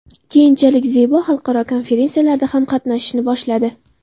Keyinchalik Zebo xalqaro konferensiyalarda ham qatnashishni boshladi.